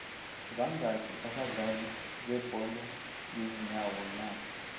banqaki abadlali bebolo lenyawo na